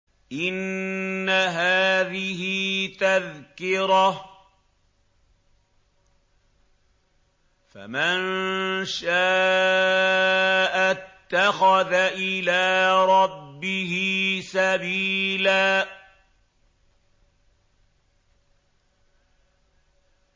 إِنَّ هَٰذِهِ تَذْكِرَةٌ ۖ فَمَن شَاءَ اتَّخَذَ إِلَىٰ رَبِّهِ سَبِيلًا